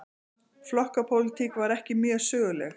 Flokkapólitík var ekki mjög söguleg.